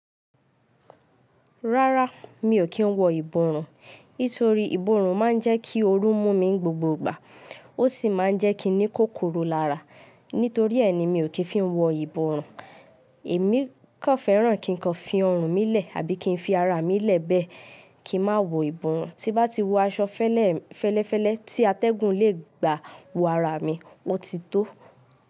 Rárá, mi ò kí ń wọ ìborùn. Nítorí ìborùn máa ń jẹ́ kí oru mú mi gbogbo ìgbà. Ó sì máa ń jẹ́ kí ni kòkoro lára. Nítorí ẹ́ ni mi ò kí ń fí wọ ìborùn. Èmi kò fẹ́ràn kí nǹkan fi ọrùn mí lẹ̀ àbí kí n fi ara mi lẹ̀ bẹ́ẹ̀ kí má wọ ìborùn. Tí bá ti wọ aṣọ fẹ́lẹ́fẹ́lẹ́ tí atẹ́gùn lè gbà wo ara mi, ó ti tó.